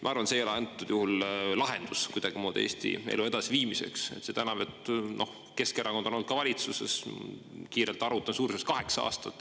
Ma arvan, et see ei ole antud juhul lahendus kuidagimoodi Eesti elu edasiviimiseks, seda enam, et Keskerakond on olnud ka valitsuses, kiirelt arvutan, suuruses kaheksa aastat.